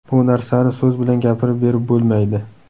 Bu narsani so‘z bilan gapirib berib bo‘lmaydi.